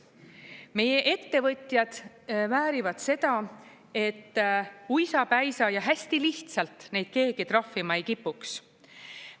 Meie ettevõtjad väärivad seda, et uisapäisa ja hästi lihtsalt neid keegi trahvima ei kipuks.